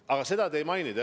Aga seda te ei maininud.